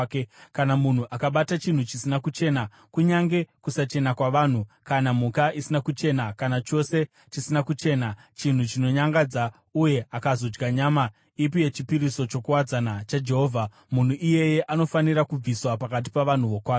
Kana munhu akabata chinhu chisina kuchena, kunyange kusachena kwavanhu, kana mhuka isina kuchena, kana chose chisina kuchena, chinhu chinonyangadza, uye akazodya nyama ipi yechipiriso chokuwadzana chaJehovha, munhu iyeye anofanira kubviswa pakati pavanhu vokwake.’ ”